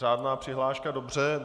Řádná přihláška, dobře.